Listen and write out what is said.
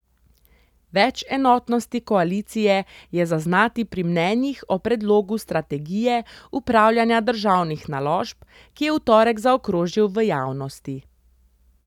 Več enotnosti koalicije je zaznati pri mnenjih o predlogu strategije upravljanja državnih naložb, ki je v torek zaokrožil v javnosti.